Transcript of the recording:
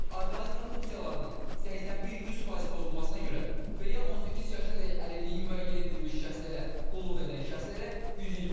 Orqanizmin funksiyalarının 81-100% pozulmasına görə və ya 18 yaşına dək əlilliyi müəyyən edilmiş şəxslərə qulluq edən şəxslərə 120 manat.